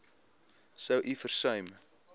sou u versuim